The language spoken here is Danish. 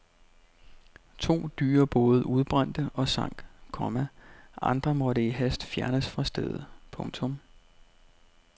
To dyre både udbrændte og sank, komma andre måtte i hast fjernes fra stedet. punktum